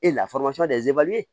E la